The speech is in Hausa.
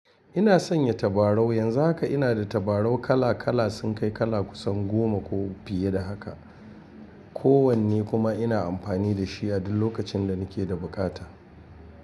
Ina sanya tabarau, yanzu haka ina da tabarau kala kala sun kai kala kusan goma ko fiye da haka. Ko wanne kuma ina amfani da shi a duk lokacin da nake da bukata.